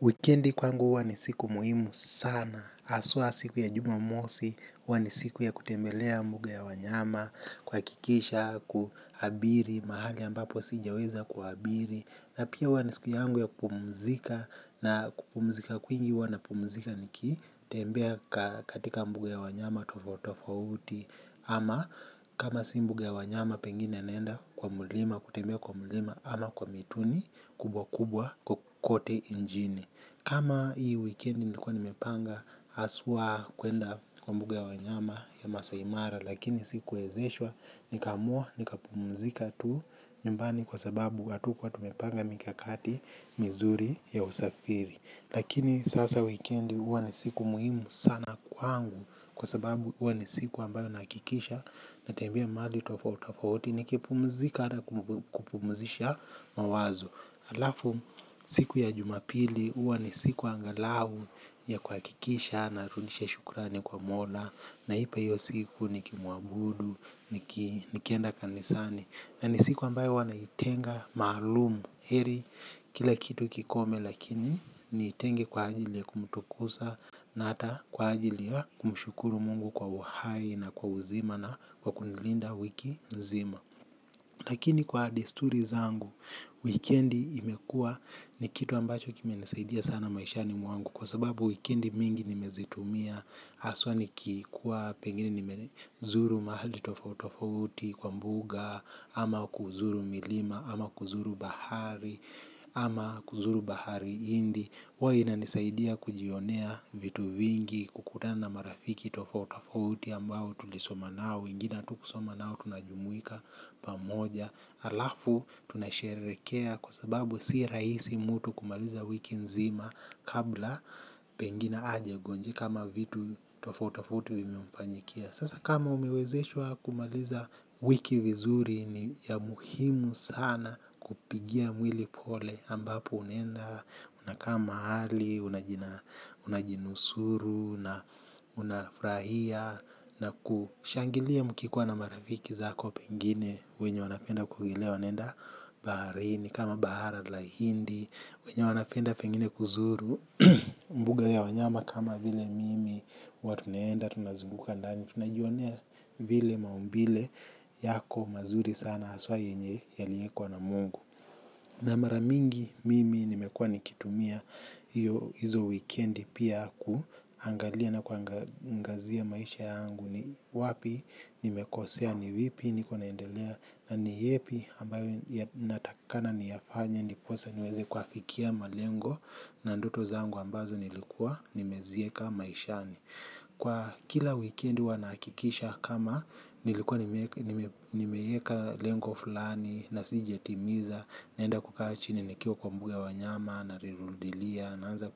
Wikendi kwangu huwa ni siku muhimu sana. Haswa siku ya jumamosi, huwa ni siku ya kutembelea mbuga ya wanyama, kuhakikisha, kuabiri, mahari ambapo sijaweza kuabiri. Na pia huwa ni siku yangu ya kupumzika na kupumzika kwingi huwa napumzika nikitembea katika mbuga ya wanyama tofauti tofauti ama kama si mbuga ya wanyama pengine naenda kwa mlima kutembea kwa mlima ama kwa mituni kubwa kubwa kote nchini. Kama hii weekend nilikuwa nimepanga haswa kuenda kwa mbuga ya wanyama ya maasai mara lakini sikuwezeshwa nikaamua nikapumzika tu nyumbani kwa sababu hatukua tumepanga mikakati mizuri ya usafiri. Lakini sasa wikendi huwa ni siku muhimu sana kwangu kwa sababu huwa ni siku ambayo nahakikisha natembea mahali tofauti tofauti nikipumzika hata kupumzisha mawazo. Halafu siku ya jumapili huwa ni siku angalau ya kuhakikisha narudisha shukrani kwa mola nahapa hiyo siku nikimuabudu niki nikienda kanisani na ni siku ambayo huwa naitenga maalum heri kila kitu kikome lakini nitenge kwa ajili ya kumtukuza na hata kwa ajili ya kumshukuru mungu kwa uhai na kwa uzima na kwa kunilinda wiki nzima. Lakini kwa desturi zangu, wikendi imekua ni kitu ambacho kimenisaidia sana maishani mwangu kwa sababu wikendi mingi nimezitumia haswa nikikuwa pengine nimezuru mahali tofautitofauti kwa mbuga ama kuzuru milima ama kuzuru bahari ama kuzuru bahari india huwa inanisaidia kujionea vitu vingi kukutana na marafiki tofauti tofauti ambao tulisoma nao, wengine hatukusoma nao tunajumuika pamoja, halafu tunasherehekea kwa sababu si rahisi mtu kumaliza wiki nzima kabla pengina hajagonjeka ama vitu tofauti tofauti vimemfanyikia. Sasa kama umewezeshwa kumaliza wiki vizuri ni ya muhimu sana kupigia mwili pole ambapo unaenda, unakaa mahali, unajinusuru na unafurahia na kushangilia mkikuwa na marafiki zako pengine wenye wanapenda kuogelea wanaenda baharini kama bahara la hindi, wenye wanapenda pengine kuzuru mbuga ya wanyama kama vile mimi huwa tunaenda. Tunazunguka ndani tunajionea vile maumbile yako mazuri sana haswa yenye yaliekwa na mungu. Na mara mingi mimi nimekuwa nikitumia hizo wikendi pia ku. Angalia na kuangazia maisha yangu ni wapi nimekosea ni vipi niko naendelea. Na ni yepi ambayo natakikana niyafanya ndiposa niweze kuafikia malengo na ndoto zangu ambazo nilikuwa nimezieka maishani. Kwa kila wikendi huwa nahakikisha kama nilikuwa nimeieka lengo fulani na sijatimiza naenda kukaa chini nikiwa kwa mguu ya wanyama nalirudilia naanza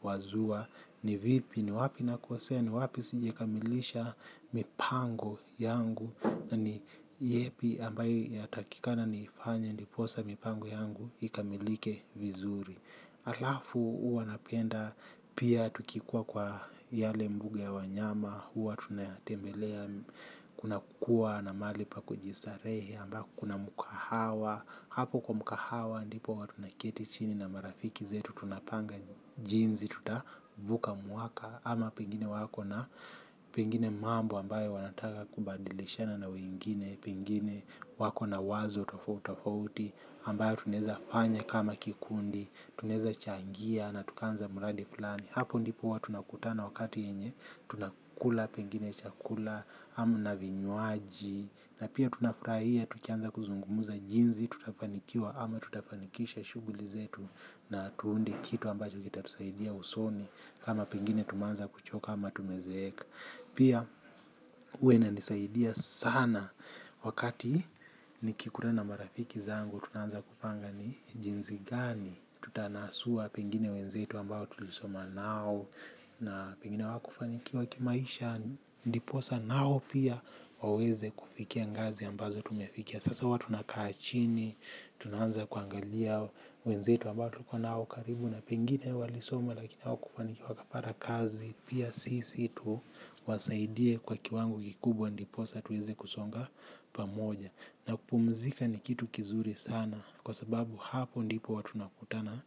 kuwazua ni vipi ni wapi nakosea ni wapi sijakamilisha mipango yangu na ni yepi ambayo yatakikana nifanya ndiposa mipango yangu ikamilike vizuri. Halafu huwa napenda pia tukikua kwa yale mbuga ya wanyama huwa tunatembelea kuna kukua na mahali pa kujistarehe ambao kuna mkahawa hapo kwa mkahawa ndipo huwa tunaketi chini na marafiki zetu. Tunapanga jinsi tutavuka mwaka. Ama pengine wako na pengine mambo ambayo wanataka kubadilishana na wengine. Pengine wako na wazo tofauti tofauti ambayo tunaeza fanya kama kikundi, tunaeza changia na tukaanza mradi fulani. Hapo ndipo huwa tunakutana wakati yenye tunakula pengine chakula tamu na vinywaji na pia tunafurahia tukianza kuzungumza jinsi tutafanikiwa ama tutafanikisha shughuli zetu na tuunde kitu ambacho kitatusaidia usoni kama pengine tumeanza kuchoka ama tumezeeka. Pia huwa inanisaidia sana wakati nikikutana na marafiki zangu tunaanza kupanga ni jinsi gani tutanasua pengine wenzetu ambao tulisoma nao na pengine hawakufanikiwa kimaisha. Ndiposa nao pia waweze kufikia ngazi ambazo tumefikia. Sasa huwa tunakaa chini tunaanza kuangalia wenzetu ambao tulikuwa nao karibu na pengine walisoma lakini hawakufanikiwa wakapata kazi pia sisi tu wasaidie kwa kiwango kikubwa ndiposa tuweze kusonga pamoja na kupumzika ni kitu kizuri sana kwa sababu hapo ndipo huwa tunakutana.